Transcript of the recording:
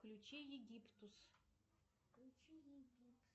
включи египтус